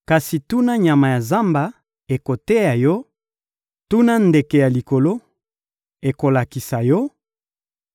Kasi tuna nyama ya zamba, ekoteya yo; tuna ndeke ya likolo, ekolakisa yo;